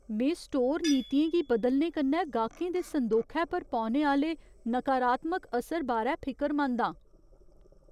में स्टोर नीतियें गी बदलने कन्नै गाह्कें दे संदोखै पर पौने आह्‌ले नकारात्मक असर बारै फिकरमंद आं।